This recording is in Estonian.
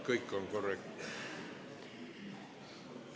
Kõik on korrektne.